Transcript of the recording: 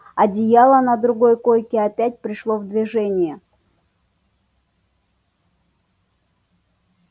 одеяло на другой койке опять пришло в движение